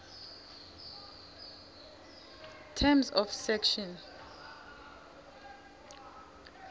terms of section